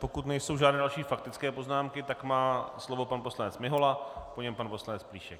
Pokud nejsou žádné další faktické poznámky, tak má slovo pan poslanec Mihola, po něm pan poslanec Plíšek.